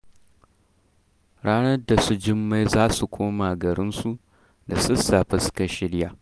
Ranar da su jummai za su koma garinsu, da sassafe suka shirya.